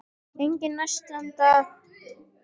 Enginn nærstaddra skildi neitt enda töluðu þeir þýsku.